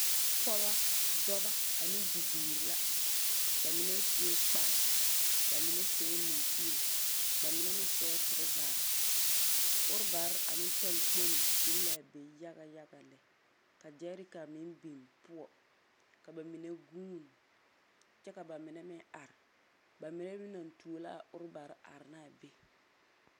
pɔgeba, dɔba ane bibiiri la ba mine sue kpare, ba mine seɛɛ muŋkue, ba mine meŋ seɛɛ torɔzare. Orobare ane talakponni biŋ la a be yagaya lɛ, ka gyɛreka meŋ biŋ poɔ. Ka ba mine gũũni kyɛ ka ba mine meŋ are. Ba mine meŋ naŋ tuo la a orobare are ne be.